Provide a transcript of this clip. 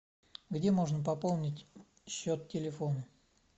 где можно пополнить счет телефона